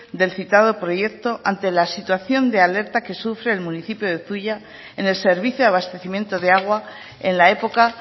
del citado proyecto ante la situación de alerta que sufre en municipio de zuia en el servicio de abastecimiento de agua en la época